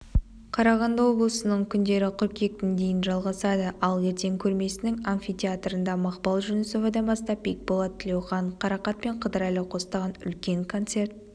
қарағанды облысының күндері қыркүйектің дейін жалғасады ал ертең көрмесінің амфитеатрында мақпал жүнісовадан бастап бекболат тілеухан қарақат пен қыдырәлі қостаған үлкен концерт